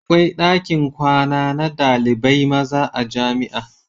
Akwai dakin kwana na ɗalibai maza a jamia